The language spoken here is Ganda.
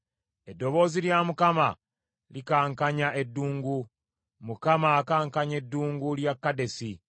Eddoboozi lya Mukama likankanya eddungu; Mukama akankanya eddungu lya Kadesi.